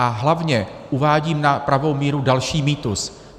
A hlavně uvádím na pravou míru další mýtus.